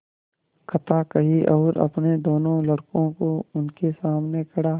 कथा कही और अपने दोनों लड़कों को उनके सामने खड़ा